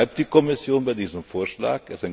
Trotzdem bleibt die Kommission bei diesem Vorschlag.